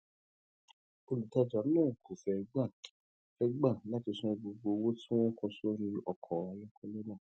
olùtajà náà kò fé gbà fé gbà láti san gbogbo owó tí wón kọ sórí ọkò ayókélé náà